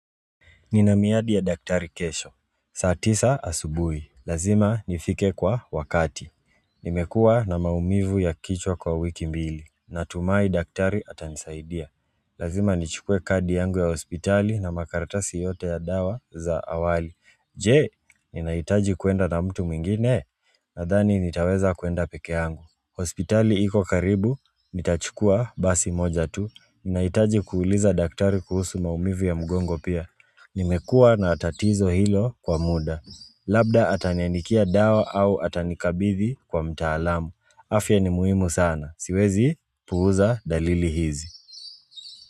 Nina miadi ya dakitari kesho saa tisa asubui. Lazima nifike kwa wakati Nimekua na maumivu ya kichwa kwa wiki mbili. Natumai daktari atanisaidia Lazima nichukue kadi yangu ya hospitali na makaratasi yote ya dawa za awali. Je, ninahitaji kuenda na mtu mwingine? Nadhani nitaweza kuenda peke yangu. Hospitali iko karibu, nitachukua basi moja tu. Ninaitaji kuuliza daktari kuhusu maumivu ya mgongo pia nimekua na tatizo hilo kwa muda labda ataniandikia dawa au atanikabidhi kwa mtaalamu afya ni muhimu sana, siwezi puuza dalili hizi.